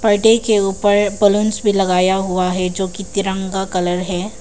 पर्दे के ऊपर बलूंस भी लगाया हुआ है जो की तिरंगा कलर है।